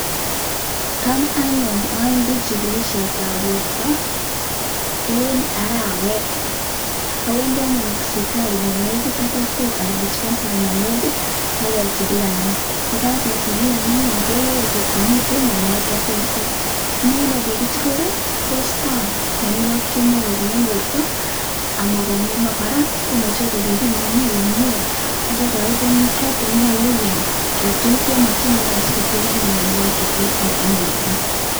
Tam anyun awendi chigilisiet ab borto en arawet awendi anyun sipitali negit ak kokwet Anan dispensari ne negit kechigilan ye kagechikilan anyun keger kot komiten mianwogik Che terter inendet ye kichigil ii kosto mianwogik Che Imuch kobwa en borto ama bwa mianwogik ako kora komuche koribin imi komie kegonin tuguk Che nyolu iam anan tuguk Che I mokyingei si koter anyun mianwogik Che terter en borto